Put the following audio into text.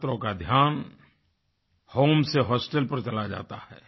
छात्रों का ध्यान होम से होस्टेल पर चला जाता है